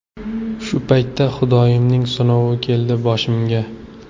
Shu paytda Xudoyimning sinovi keldi boshimga.